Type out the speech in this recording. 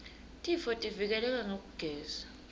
tifotivike leka ngekugeza